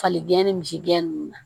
Fali gɛn ni misi gɛnnen nunnu na